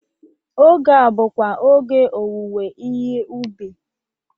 Oge a bụkwa oge owuwe ihe ụbị.